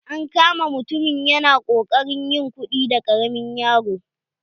An kama mutumin ya na kokarin yin kuɗi da ƙaramin yaro.